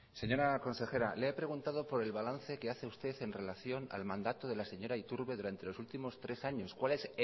señora consejera le he preguntado por el balance que hace usted en relación al mandato de la señora iturbe durante los últimos tres años cuál es